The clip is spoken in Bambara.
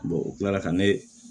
o kila la ka ne